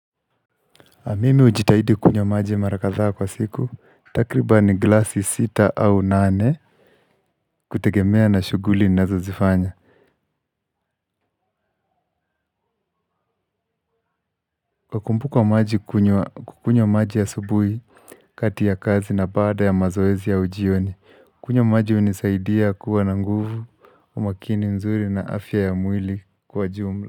Mimi hujitahidi kunywa maji mara kadhaa kwa siku, takriban glasi sita au nane, kutegemea na shughuli ninazozifanya. Kwa kumbuka maji kunywa maji asubuhi, kati ya kazi na baada ya mazoezi au ujioni, kunywa maji hunisaidia kuwa na nguvu, umakini nzuri na afya ya mwili kwa jumla.